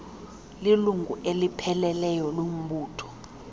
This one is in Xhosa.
lilungu elipheleleyo lombutho